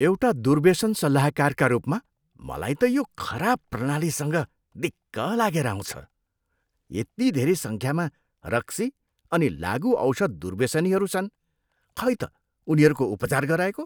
एउटा दुर्व्यसन सल्लाहकारका रूपमा मलाई त यो खराब प्रणालीसँग दिक्क लागेर आउँछ। यति धेरै सङ्ख्यामा रक्सी अनि लागुऔषध दुर्व्यसनीहरू छन्, खै त उनीहरूको उपचार गराएको?